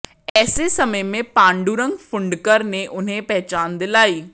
ऐसे समय में पांडुरंग फुंडकर ने उन्हें पहचान दिलाई